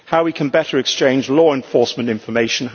how we can better exchange law enforcement information